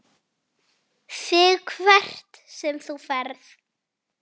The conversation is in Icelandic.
ÞIG HVERT SEM ÞÚ FERÐ.